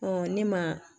ne ma